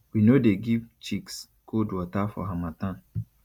we no dey give chicks cold water for harmattan